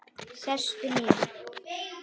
Sestu niður.